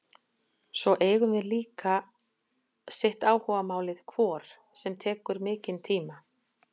Svo eigum við okkur líka sitt áhugamálið hvort sem tekur mikinn tíma.